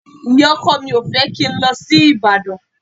Ìyá-ọkọ mi ò fẹ́ kí n lọ sí Ìbàdàn.